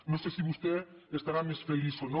no sé si vostè estarà més feliç o no